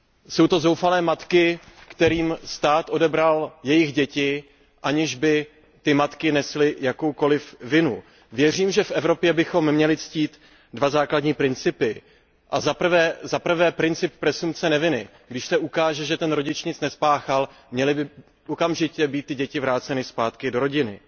Jsou to zoufalé matky, kterým stát odebral jejich děti, aniž by matky nesly jakoukoli vinu. Věřím, že v Evropě bychom měli ctít dva základní principy zaprvé princip presumpce neviny když se ukáže, že ten rodič nic neschápal, měly by děti být okamžitě vráceny zpátky do rodiny,